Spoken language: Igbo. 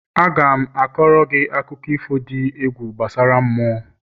Aga m a koro gị akụkọ ifo dị egwu gbasara mmụọ